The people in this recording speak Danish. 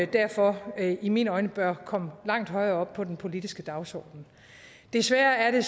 derfor i mine øjne bør komme langt højere op på den politiske dagsorden desværre er det